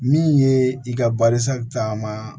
Min ye i ka balisa caman